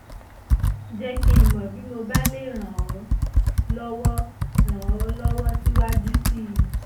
jẹ́ kí n mọ̀ bí mo bá lè ràn ọ́ lọ́wọ́ ràn ọ́ lọ́wọ́ síwájú sí i